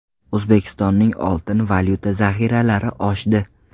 O‘zbekistonning oltin-valyuta zaxiralari oshdi.